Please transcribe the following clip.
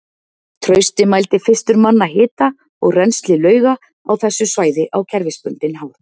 Trausti mældi fyrstur manna hita og rennsli lauga á þessu svæði á kerfisbundinn hátt.